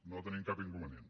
no hi tenim cap inconvenient